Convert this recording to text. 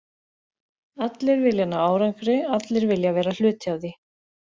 Allir vilja ná árangri, allir vilja vera hluti af því.